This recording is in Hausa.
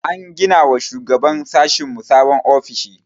An gina wa shugaban sashinmu sabon ofishi.